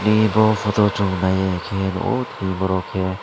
e bo photo o chung naiye khe nukgo tini borok khe.